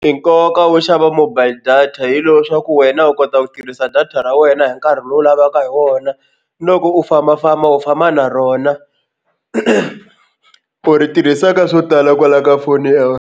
I nkoka wo xava mobile data hi lowo swa ku wena u kota ku tirhisa data ra wena hi nkarhi lowu u lavaka hi wona loko u fambafamba u famba na rona u ri tirhisa ka swo tala kwala ka foni ya.